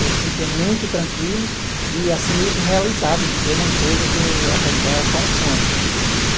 Eu sentia muito tranquilo e assim meio que realizado de ver uma coisa que até então era só um sonho. Uhum.